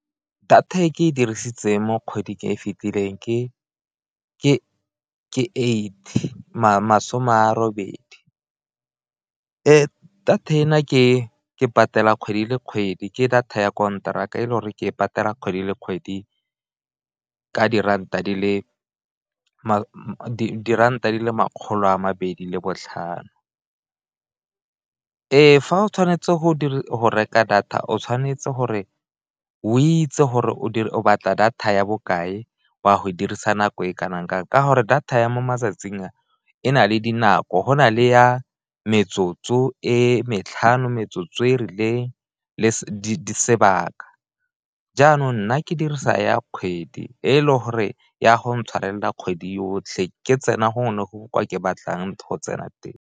Data e ke e dirisitseng mo kgweding e e fitileng ke eighty masome a robedi , data ena ke ke patela kgwedi le kgwedi ke data ya konteraka e leng gore ke e patela kgwedi le kgwedi ka diranta di le diranta di le makgolo a mabedi le botlhano. Fa o tshwanetse go reka data o tshwanetse gore o itse gore o batla data ya bokae, o a go e dirisa nako e kanakang, ka gore data ya mo matsatsing a e na le dinako go na le ya metsotso e matlhano, metsotso e rileng le sebaka. Jaanong nna ke dirisa ya kgwedi e le gore ya go intshwarela kgwedi yotlhe ke tsena gongwe le gongwe kwa ke batlang go tsena teng.